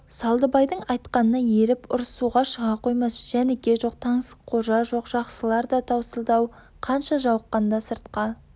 салдыбайдың айтқанына еріп ұрысуға шыға қоймас жәніке жоқ таңсыққожа жоқ жақсылар да таусылды-ау қанша жауыққанда сыртқа